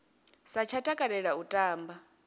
sa tsha takalela u tamba